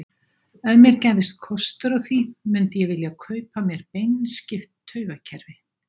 Ef mér gæfist kostur á því, mundi ég vilja kaupa mér beinskipt taugakerfi?